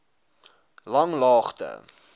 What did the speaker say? langlaagte